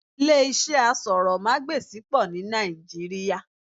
Ilé iṣẹ́ asọ̀rọ̀mágbèsì pọ̀ ní Nàìjíríà